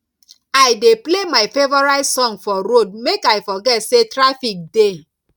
i dey play my favourite song for road make i forget sey traffic dey